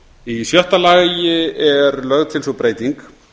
í sjötta lagi er lögð til sú breyting